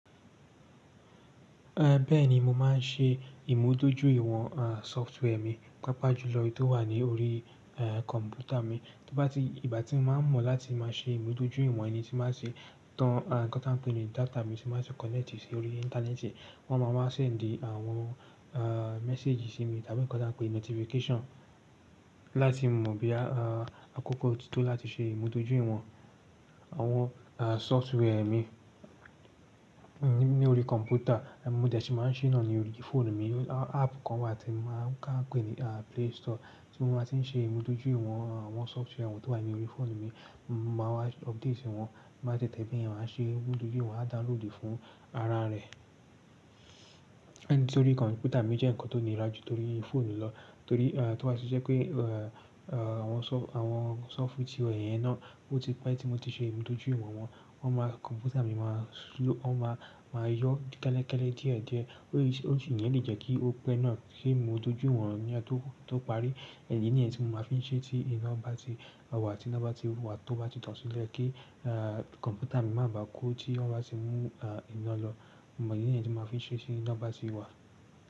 Bẹ́ẹ̀ni, mo máa ń ṣe ìmúdójúìwọ̀n software mi, pàápàá jùlọ èyí tó wà ní orí kọ̀m̀pútà mi. Nígbà tí mo bá mọ̀ láti máa ṣe ìmúdójúìwọ̀n ni, tí n bá tí tan nǹkan tán pè ní data mi tí bá ti connect sí orí ìntanẹ́ẹ̀tì, wọ́n má ma send àwọn message sí mi tàbí nǹkan tán ń pè ní notification láti mọ bóyá àkókò tí tó láti ṣe ìmúdójúìwọ̀n àwọn software mi ní orí kọ̀m̀pútà. Mo dẹ̀ ṣí màá n ṣe náà ní orí fóònù mi. Áàpù kan wà tí màá, táń pè ní play store tí mo màá ti ń ṣe ìmúdójúìwọ̀n àwọn software tó wà ní orí fóònù mi. Mo máa wá update wọn bí máa ṣe tẹ́lẹ̀ bẹ́ẹ̀ ni màá ṣe ìmúdójúìwọ̀n, à dáúlòòdù fún ara rẹ̀. Ṣé orí kọ̀m̀pútà mi jẹ́ nǹkan tó níra jú torí fónù lọ torí à tí wọ́n ṣe jẹ́ pé àwon àwọn sọ́fù tí wọ̀ yẹn náà bó ti pẹ́ tí mo ti ṣe ìmúdójúìwọ̀n wọn, won máa kọ̀m̀pútà mi máa yọ kẹ́lẹ́kẹ́lẹ́ díẹ̀ díẹ̀. Ó sì le jẹ́ kí ó pẹ́ náà kí n mú dojú ìwọ̀n ní ọ̀tọ̀ọ̀tọ̀ parí. Ìdí nìyẹn tí mo máa fi n ṣe tí iná bá ti wà, tí iná bá ti wa tọ̀ bá ti dasilẹ̀ kí kọ̀m̀pútà mi má ba kú tí iná bá ṣe mú ìná lọ. Mo mọ ìdí nìyẹn tí mo máa fi n ṣe tí iná bá ti wà.